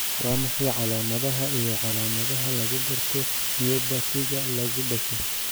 Waa maxay calamadaha iyo calaamadaha lagu garto myopathy-ga lagu dhasho?